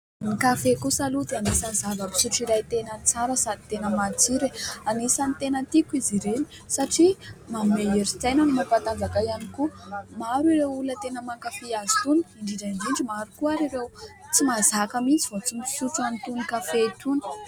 Ny kafe kosa aloha dia anisan'ny zava-pitsotro iray tena tsara sady tena matsiro e ! Anisany tena tiko izy ireny satria manome herin-tsaina no mampatajaka ihany koa. Maro ireo olona tena mankafy azy itony, indrindra indrindra maro koa ary ireo tsy mazaka mihintsy vao tsy misotro an'itony kafe itony.